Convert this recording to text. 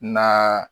Na